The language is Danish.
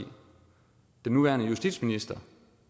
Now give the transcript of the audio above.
den nuværende justitsminister